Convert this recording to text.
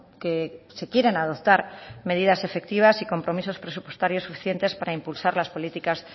que se quieren adoptar medidas efectivas y compromisos presupuestarios suficientes para impulsar las políticas